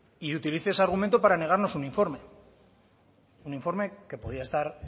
y utilice ese argumento para negarnos un informe un informe que podía estar